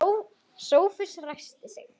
Sófus ræskti sig.